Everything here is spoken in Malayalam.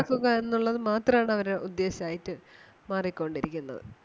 എന്ന എന്നുള്ളത് മാത്രം ആണ് അവരുടെ ഉദ്ദേശം ആയിട്ട് മാറി കൊണ്ട് ഇരിക്കുന്നത്.